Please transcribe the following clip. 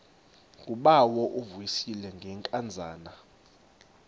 ngubawo uvuyisile ngenkazana